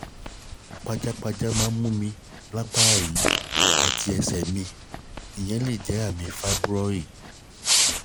pajápajá máa ń mú mi lapá yi àti ẹsẹ̀ mi ìyẹn lè jẹ́ àmì fáíbúrọ̀i